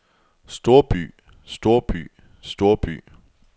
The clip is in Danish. storby storby storby